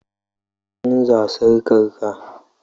ka canza sarkar ka?